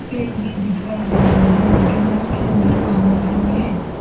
Fate भी दिखाई दे रहा है केनाल के अंदर पानी भी है।